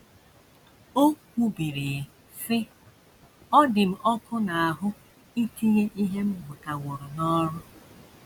O kwubiri, sị: “ Ọ dị m ọkụ n’ahụ́ itinye ihe m gụtaworo n’ọrụ. ”